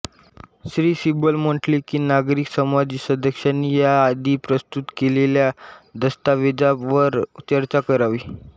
श्री सिब्बल म्हटले कि नागरिक समाज सदस्यांनी या आधी प्रस्तुत केलेल्या दास्तैवाजावर चर्चा करावी